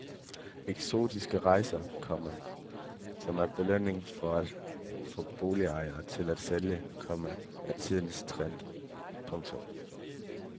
Eksotiske rejser, komma som belønning for at få boligejere til at sælge, komma er tidens trend. punktum